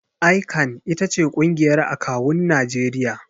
ICAN ita ce ƙungiyar akawun Najeriya.